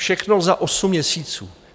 Všechno za osm měsíců.